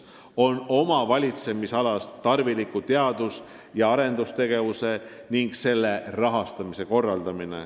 – on korraldada oma valitsemisalas tarvilikku teadus- ja arendustegevust ning selle rahastamist.